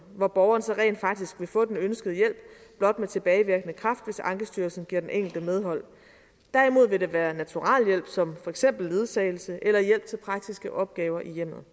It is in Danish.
hvor borgeren så rent faktisk vil få den ønskede hjælp blot med tilbagevirkende kraft hvis ankestyrelsen giver den enkelte medhold derimod vil det være naturalhjælp som for eksempel ledsagelse eller hjælp til praktiske opgaver i hjemmet